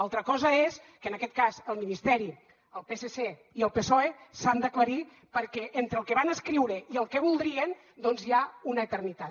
altra cosa és que en aquest cas el ministeri el psc i el psoe s’han d’aclarir perquè entre el que van escriure i el que voldrien doncs hi ha una eternitat